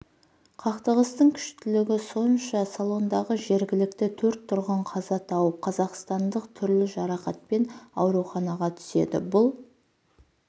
қақтығыстың кұштілігі сонша салондағы жергілікті төрт тұрғын қаза тауып қазақстандық түрлі жарақатпен ауруханаға түседі бұл